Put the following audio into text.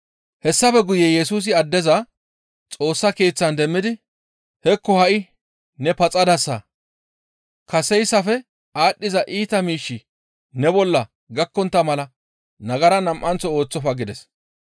Hessafe guye Yesusi addeza Xoossa Keeththan demmidi, «Hekko ha7i ne paxadasa; kaseyssafe aadhdhiza iita miishshi ne bolla gakkontta mala nagara nam7anththo ooththofa» gides.